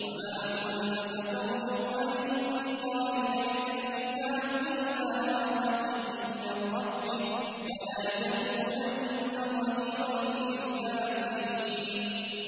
وَمَا كُنتَ تَرْجُو أَن يُلْقَىٰ إِلَيْكَ الْكِتَابُ إِلَّا رَحْمَةً مِّن رَّبِّكَ ۖ فَلَا تَكُونَنَّ ظَهِيرًا لِّلْكَافِرِينَ